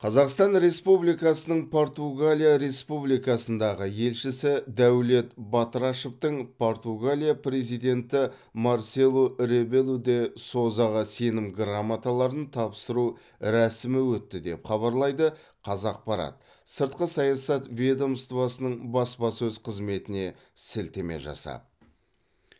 қазақстан республикасының португалия республикасындағы елшісі дәулет батырашевтың португалия президенті марселу ребелу де созаға сенім грамоталарын тапсыру рәсімі өтті деп хабарлайды қазақпарат сыртқы саясат ведомоствосының баспасөз қызметіне сілтеме жасап